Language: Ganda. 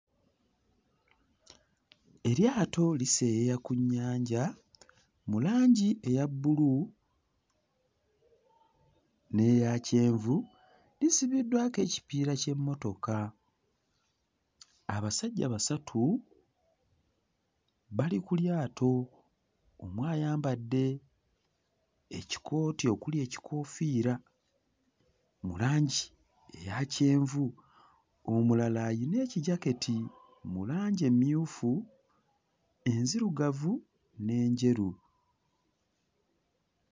Eryato liseeyeeya ku nnyanja mu langi eya bbulu n'eya kyenvu, lisibiddwako ekipiira ky'emmotoka, abasajja basatu bali ku lyato, omu ayambadde ekikooti okuli ekikoofiira mu langi eya kyenvu, omulala ayina ekijaketi mu langi emmyufu enzirugavu n'enjeru